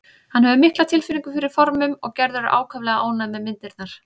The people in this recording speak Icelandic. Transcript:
Hann hefur mikla tilfinningu fyrir formum og Gerður er ákaflega ánægð með myndirnar.